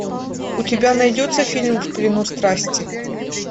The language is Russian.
у тебя найдется фильм в плену страсти